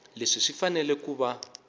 leswi swi fanele ku va